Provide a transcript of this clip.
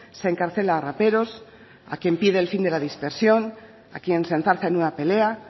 se encarcela a raperos a quien pide el fin de la dispersión a quien se enzarza en una pelea